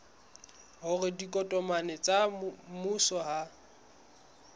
hore ditokomane tsa mmuso ha